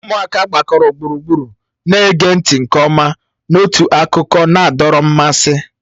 Ụmụaka gbakọrọ gburugburu na-ege ntị nke ọma n'otu akụkọ na-adọrọ mmasị